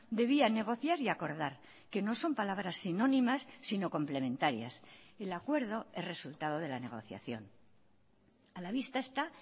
debía negociar y acordar que no son palabras sinónimas sino complementarias el acuerdo es resultado de la negociación a la vista está